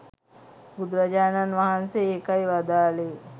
බුදුරජාණන් වහන්සේ ඒකයි වදාළේ